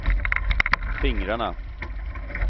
fingrarna